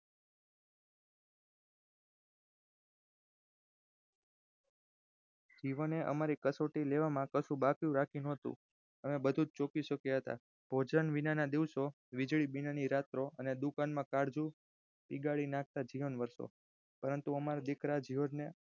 જીવને અમારી કસોટી લેવામાં કશું બાકી રાખ્યું ના હતું અમે બધુજ શક્યા હતા ભોજન વીનાના દિવસો વીજળી વીનાની રાતો દુકાળ માં કાળજું પીગળી નાખતા જીવન વર્ષો પરંતુ અમારા દીકરા જ્યોર્જ ને